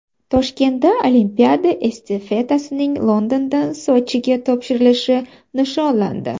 Toshkentda olimpiada estafetasining Londondan Sochiga topshirilishi nishonlandi.